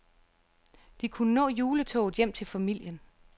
De kunne nå juletoget hjem til familien.